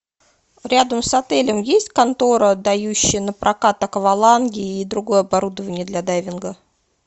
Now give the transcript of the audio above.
рядом с отелем есть контора дающая на прокат акваланги и другое оборудование для дайвинга